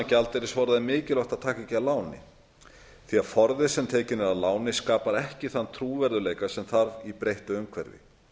er mikilvægt að taka ekki að láni því að forði sem tekinn er að láni skapar ekki þann trúverðugleika sem þarf í breyttu umhverfi